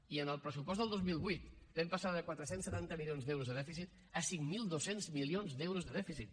i en el pressupost del dos mil vuit vam passar de quatre cents i setanta milions d’euros de dèficit a cinc mil dos cents milions d’euros de dèficit